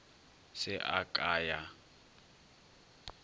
se a ka a ya